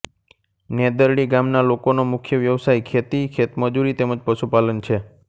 નેદરડી ગામના લોકોનો મુખ્ય વ્યવસાય ખેતી ખેતમજૂરી તેમ જ પશુપાલન છે